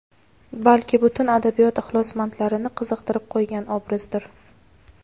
balki butun adabiyot ixlosmandlarini qiziqtirib qo‘ygan obrazdir.